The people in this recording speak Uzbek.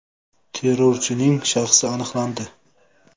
Terrorchining shaxsi aniqlandi.